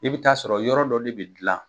I bi t'a sɔrɔ yɔrɔ dɔ de bi dilan.